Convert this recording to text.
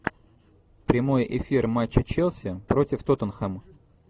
прямой эфир матча челси против тоттенхэма